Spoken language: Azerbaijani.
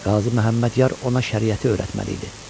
Düzdür, Qazı Məhəmmədyar ona şəriəti öyrətməli idi.